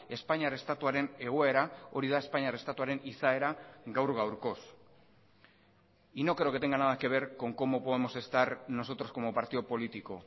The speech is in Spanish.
espainiar estatuaren egoera hori da espainiar estatuaren izaera gaur gaurkoz y no creo que tenga nada que ver con cómo podemos estar nosotros como partido político